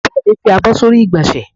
Àbúrò mi fi àbọ̀ sórí igbonse